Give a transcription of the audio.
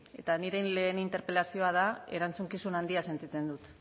eta nire lehen interpelazioa da erantzukizun handia sentitzen dut